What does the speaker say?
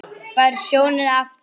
Færð sjónina aftur.